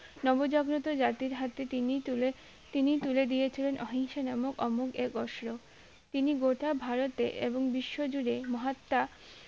নবজাগ্রত জাতির হাতে তিনি তুলে তিনি তুলে দিয়েছিলেন অহিংস্র নামক অমূল এই অস্ত্র তিনি গোটা ভারতে এবং বিশ্বা জুড়ে মহাত্মা